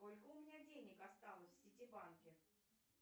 сколько у меня денег осталось в сити банке